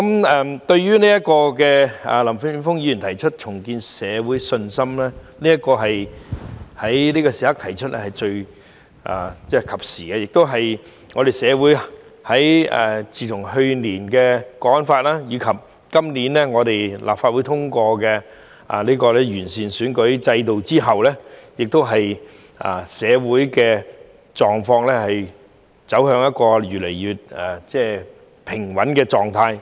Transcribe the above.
林健鋒議員在此時此刻提出"重建社會信心"議案真是及時，自去年實施《香港國安法》及今年立法會通過完善選舉制度的法例後，社會狀況越來越平穩。